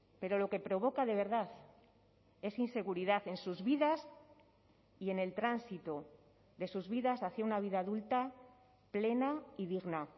pero lo que provoca de verdad es inseguridad en sus vidas y en el tránsito de sus vidas hacia una vida adulta plena y digna